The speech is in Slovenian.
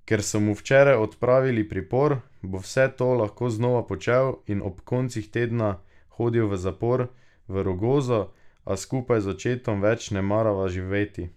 Ker so mu včeraj odpravili pripor, bo vse to lahko znova počel in ob koncih tedna hodil v zapor v Rogozo, a skupaj z očetom več ne namerava živeti.